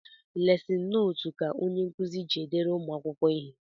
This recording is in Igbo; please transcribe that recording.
Lesin notu ka onyenkuzi ji edere ụmụakwụkwọ ihe